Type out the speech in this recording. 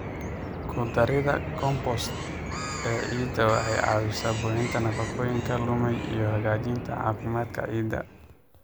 Ku darida compost ee ciidda waxay caawisaa buuxinta nafaqooyinka lumay iyo hagaajinta caafimaadka ciidda.